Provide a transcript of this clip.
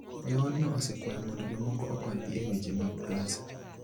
Joodno osekwayo mondo jomoko okonygi e weche mag pesa.